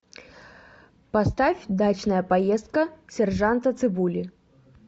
поставь дачная поездка сержанта цыбули